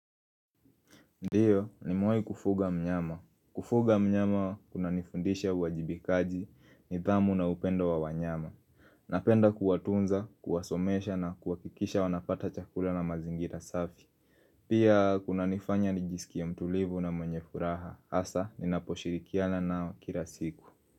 Ndiyo nimewahi kufuga mnyama. Kufuga mnyama kuna nifundisha uwajibikaji nidhamu na upendo wa wanyama. Napenda kuwatunza, kuwasomesha na kuhakikisha wanapata chakula na mazingira safi. Pia kunanifanya ni jisikie mtulivu na mwenye furaha. Hasa ninaposhirikiana nao kila siku.